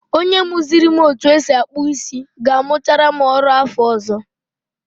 Onye muziri m otu esi akpụ isi ga-amuchara m ọrụ afọ ọzọ.